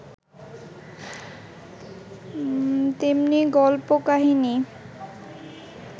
তেমনি গল্প কাহিনী